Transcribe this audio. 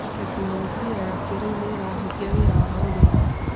Tekinolonjĩ ya kĩrĩu nĩ ĩrahũthia wĩra wa ũrĩmi.